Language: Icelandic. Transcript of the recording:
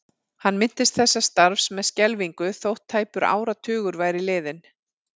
Hann minntist þessa starfs með skelfingu þótt tæpur áratugur væri liðinn.